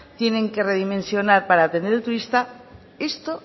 tienen que redimensionar para atender al turista esto